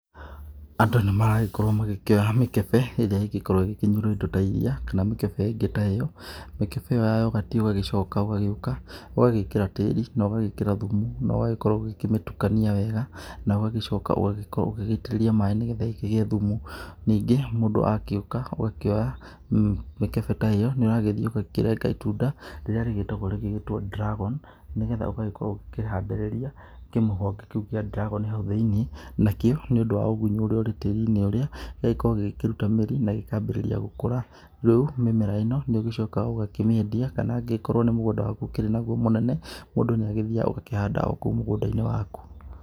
Andũ nĩ maragĩkorwo magĩkĩoya mĩkebe ĩrĩa ĩgĩkorwo ĩgĩkĩnyuĩrĩtwo ta iria kana mĩkebe ĩngĩ ta ĩyo. Mĩkebe ĩyo ya yogati ũgagĩcoka ũgagĩũka, ũgagĩkĩra tĩri na ũgagĩkĩra thumu, na ũgakorwo ũkĩmĩtukania wega, na ũgagĩcoka ũgagĩkorwo ũgĩgĩitĩrĩria maaĩ nĩ getha ĩkĩgĩe thumu. Ningĩ mũndũ agĩũka ũgakĩoya mĩkebe ta ĩyo na ũgagĩthiĩ ũgakĩrenga itunda rĩrĩa rĩgĩkoragwo rĩgĩtwo ndiragoni, nĩ getha ũgagĩkorwo ũkĩhandĩrĩrria kĩmũhonge kĩu kĩa ndiragoni hau thĩinĩ. Nakĩo nĩ ũndũ wa ũgunyu ũrĩa ũkĩrĩ tĩri-inĩ ũrĩa, gĩgagĩkorwo gĩgĩkĩruta mĩri na gĩkambĩrĩria gũkũra. Rĩu mĩmera ĩno nĩ ũgĩcokaga ũkamĩendia na kana angĩgĩkorwo nĩ mũgũnda waku ũkĩrĩ naguo mũnene mũndnaguo nĩ agĩthiaga naguogakĩhanda okũu mũgũnda-inĩ waku.